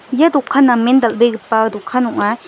ia dokan namen dal·begipa dokan ong·a.